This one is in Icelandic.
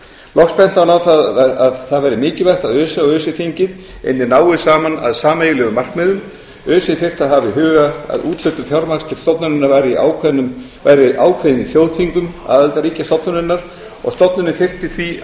loks benti hann á að það væri mikilvægt að öse og öse þingið ynnu náið saman að sameiginlegum markmiðum öse þyrfti að hafa í huga að úthlutun fjármagns til stofnunarinnar væri ákveðin í þjóðþingum aðildarríkja stofnunarinnar og stofnunin þyrfti því